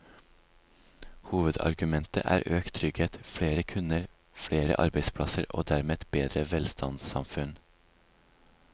Hovedargumentet er økt trygghet, flere kunder, flere arbeidsplasser og dermed et bedre velstandssamfunn.